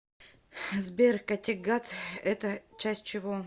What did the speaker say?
сбер каттегат это часть чего